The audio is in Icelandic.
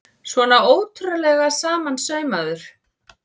Svona ótrúlega samansaumaður!